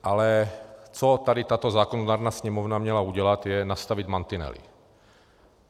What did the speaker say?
Ale co tady tato zákonodárná Sněmovna měla udělat, je, nastavit mantinely.